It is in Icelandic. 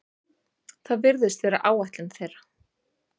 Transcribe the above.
Það virðist vera áætlun þeirra